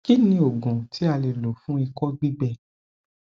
kí ni oògùn tí a lè lò fún iko gbígbẹ